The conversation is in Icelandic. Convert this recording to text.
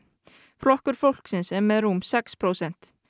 flokkur fólksins er með rúm sex prósent